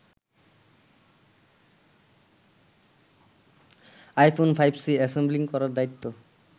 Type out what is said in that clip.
iPhone ৫সি assembling করার দায়িত্ব